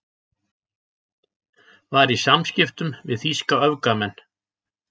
Var í samskiptum við þýska öfgamenn